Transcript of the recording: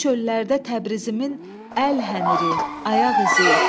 O çöllərdə Təbrizimin əlhəniri, ayaq izi.